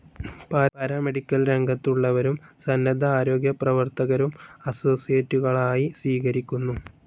Paramedical രംഗത്തുള്ളവരും സന്നദ്ധ ആരോഗ്യപ്രവർത്തകരും അസോസിയേറ്റുകളായി സ്വീകരിക്കുന്നു.